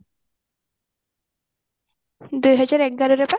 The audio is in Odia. ଦୁଇ ହଜାର ଏଗାରରେ ପା